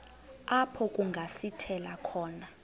apho kungasithela khona